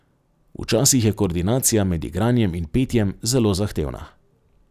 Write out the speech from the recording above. Včasih je koordinacija med igranjem in petjem zelo zahtevna.